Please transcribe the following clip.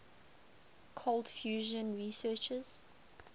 cold fusion researchers